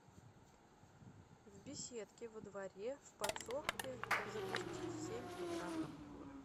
в беседке во дворе в подсобке запусти в семь утра